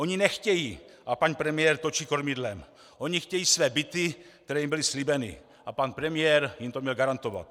Oni nechtějí, ať pan premiér točí kormidlem, oni chtějí své byty, které jim byly slíbeny, a pan premiér jim to měl garantovat.